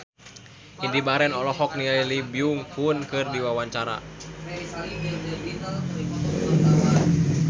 Indy Barens olohok ningali Lee Byung Hun keur diwawancara